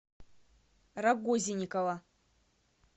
рагозинникова